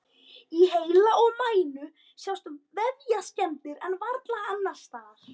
Í heila og mænu sjást vefjaskemmdir en varla annars staðar.